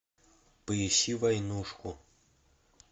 поищи войнушку